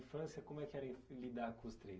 infância, como é que era lidar com os três?